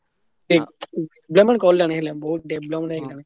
ବହୁତ develop ହେଲାଣି।